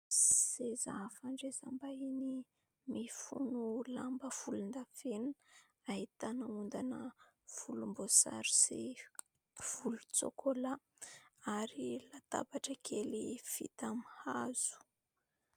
Seza fandraisam-bahiny mifono lamba volondavenona, ahitana ondana volomboasary sy volontsôkôla ary latabatra kely vita amin'ny hazo.